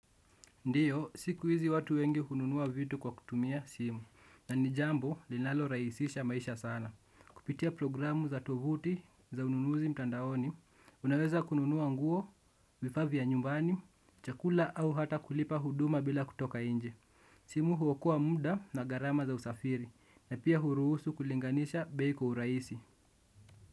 Ndiyo, siku hizi watu wengi hununua vitu kwa kutumia simu, na ni jambo linalorahisisha maisha sana. Kupitia programu za tovuti za ununuzi mtandaoni, unaweza kununua nguo, vifaa vya nyumbani, chakula au hata kulipa huduma bila kutoka nje. Simu huokoa muda na gharama za usafiri, na pia huruhusu kulinganisha bei kwa urahisi.